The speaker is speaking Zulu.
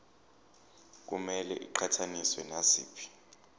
kumele iqhathaniswe naziphi